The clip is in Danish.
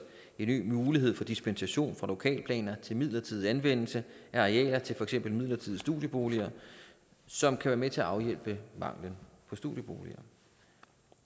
en ny mulighed for dispensation fra lokalplaner til midlertidig anvendelse af arealer til for eksempel midlertidige studieboliger som kan være med til at afhjælpe manglen på studieboliger